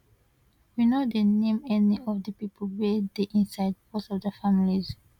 we no dey name any of di pipo wey dey inside becos of dia families